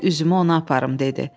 Qoy üzümü ona aparım dedi.